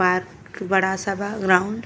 Park बड़ा सा बा ग्राउंड ।